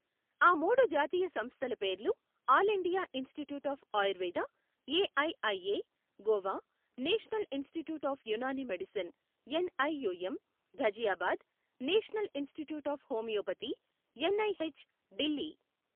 ఆ మూడు జాతీయ సంస్థల పేర్లు all India institute of Ayurveda AIIA, Goa, national institute of Unani medicine N IUM, Ghaziabad, national institute of homeopathy N IH Delhi